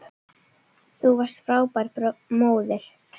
Þú varst frábær móðir.